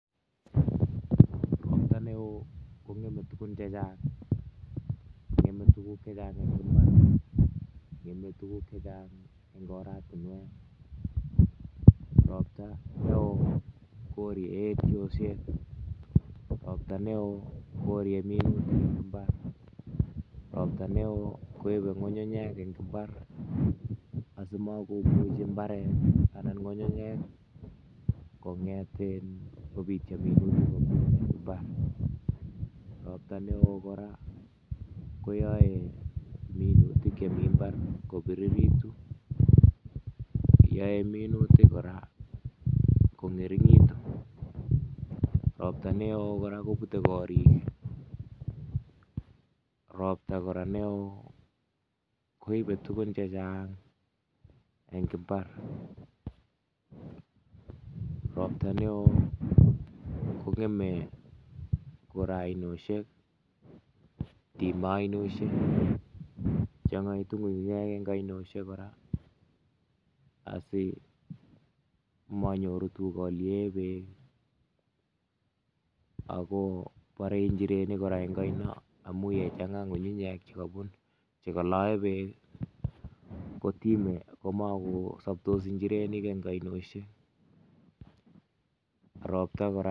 robta neoo ko ng'eme tukun che chang. Ng'eme tukun che chang eng mbaret, ng'eme tukun che chang eng oratinwek. Robta neoo ko ori robta neoo koori minutik eng mbar, robta neoo koibe ng'ung'unyek eng mbar asikomuchi mbare anan ng'ung'unyek kong'etin ko bitio minutik mbar robta neoo kora ko yoe minutik chemi mbar ko biriritu, yoe minutik kora kong'ering'itun robta neoo kora kobute korik, robta kora neoo koibe tukun che chang eng mbar, robta neoo ko ng'eme kora oinesiek time oinesiek ,chang'aitu ngungunyek eng oinosiek kora asimanyoru tukolie beek ako bore nchirenik kora oino amu ye chang'a ngungunye makusobtos nchirenik eng oinosiek, robta kora